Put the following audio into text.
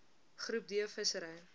groep d visserye